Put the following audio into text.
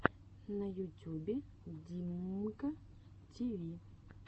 в ютюбе димммка тиви